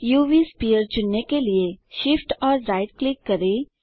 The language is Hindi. उव स्फीयर चुनने के लिए Shift और राइट क्लिक करें